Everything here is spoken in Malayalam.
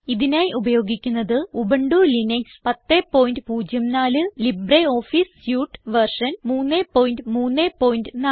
ഇതിനായി ഉപയോഗിക്കുന്നത് Ubuntu Linux 1004 LibreOffice suite version 334